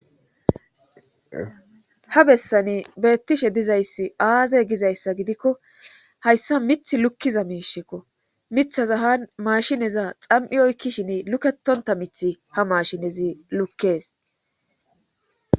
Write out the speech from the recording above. ha bessani beettishe dizayssi aaze gizayssa gidikko hayssa mith lukkiza miishekko mithaza ha maashineza xam7i oykkishin lukketonta mithi ha mashinezi lukkees